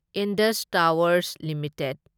Indus Towers limited